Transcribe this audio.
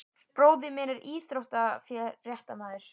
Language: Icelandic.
Bróðir minn er íþróttafréttamaður.